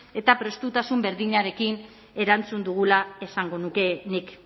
eta prestutasun berdinarekin erantzun dugula esango nuke nik